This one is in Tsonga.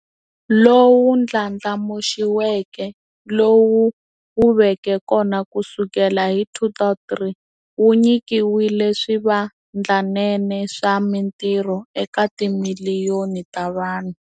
Lowu Ndlandlamuxiweke, lowu wu veke kona kusukela hi 2003, wu nyikile swivandlanene swa mitirho eka timiliyoni ta vanhu.